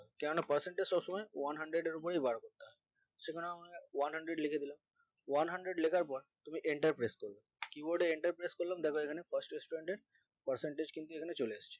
কেননা percentage সবসময় one hundred এর উপরেই বাড়বে ওটা সেখানে one hundred লিখে দিলাম one hundred লেখার পর তুমি enter press করবে keyboard এ enter press করলাম দেখো এখানে first student এর percentage কিন্তু এখানে চলে এসেছে